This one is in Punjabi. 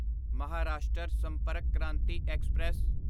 ਮਹਾਰਾਸ਼ਟਰ ਸੰਪਰਕ ਕ੍ਰਾਂਤੀ ਐਕਸਪ੍ਰੈਸ